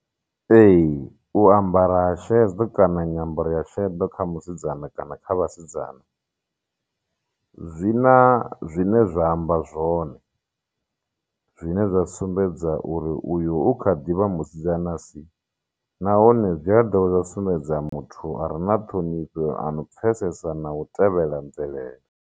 Ee u ambara ha sheḓo kana nyambaro ya shedo kha musidzana kana kha vhasidzana zwina zwine zwa amba zwone zwine zwa sumbedza uri uyu u kha ḓivha musidzana si nahone zwi a dovha zwa sumbedza muthu a re na ṱhonifho ano pfesesa na u tevhela mvelele.